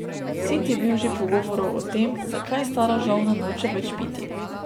Sit je bil že pogovorov o tem, zakaj stara žolna noče več piti.